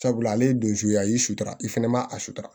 Sabula ale ye don suguya ye i sutura i fana ma a sutura